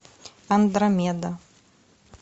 андромеда